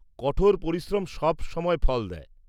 -কঠোর পরিশ্রম সবসময় ফল দেয়।